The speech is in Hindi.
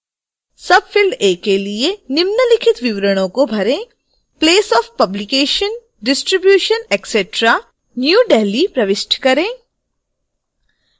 field a के लिए निम्नलिखित विवरणों को भरेंplace of publication distribution etc new delhi प्रविष्ट करें